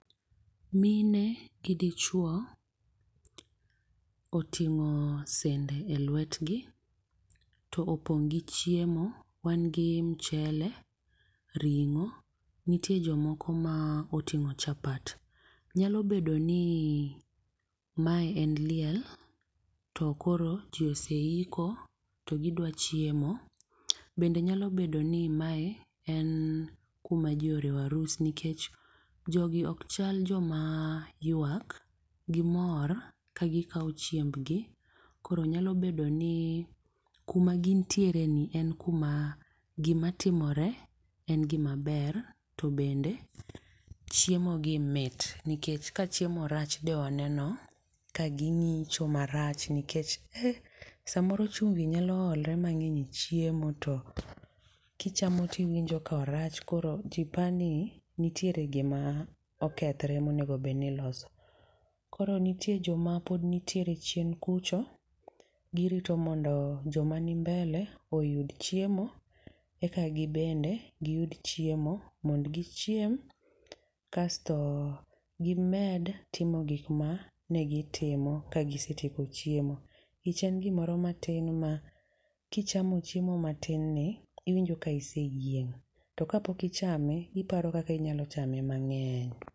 Mine gi dichuo, oting'o sende e lwetgi, to opong' gi chiemo. Wan gi michele, ring'o, nitie jomoko ma oting'o chapat. Nyalo bedo ni mae en liel to koro ji oseiko to gidwa chiemo. Bende nyalo bedo ni mae en kuma ji oriwo arus, nikech jogi okchal joma yuak, gimor ka gikao chiembgi koro nyalo bedo ni kuma gintiere ni en kuma gimatimore en gimaber to bende chiemo gi mit. Nikech ka chiemo rach de waneno ka ginyicho marach. Nikech, eh, samoro chumbi nyalo olore mang'eny e chiemo to kichamo tiwinjo ka orach, koro jipani nitiere gima okethore monego bedni iloso. Koro nitie joma pod nitiere chien kucho, girito mondo joma ni mbele oyud chiemo eka gibende giyud chiemo mondo gichiem, kasto gimed timo gik ma ne gitimo ka gisitiko chiemo. Ich en gimoro matin ma kichamo chiemo matin ni iwinjo ka iseyieng'. To kapok ichame iparo kaka inyalo chame mang'eny.